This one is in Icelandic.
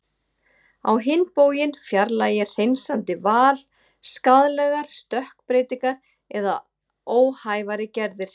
Á hinn bóginn fjarlægir hreinsandi val skaðlegar stökkbreytingar eða óhæfari gerðir.